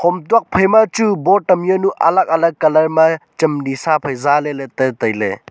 hom tuak phai ma chu board am jawnu alag alag colour ma chem di sa phai zah ley te tailey.